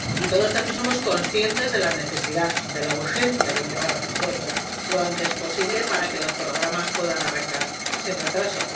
Y todos también somos conscientes de la necesidad, de la urgencia de llegar a un acuerdo lo antes posible para que los programas puedan arrancar sin retraso.